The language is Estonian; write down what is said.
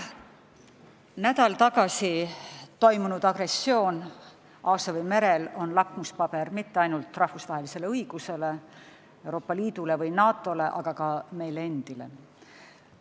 Nädal tagasi toimunud agressioon Aasovi merel on lakmuspaber mitte ainult rahvusvahelise õiguse, Euroopa Liidu või NATO jaoks, aga ka meie endi jaoks.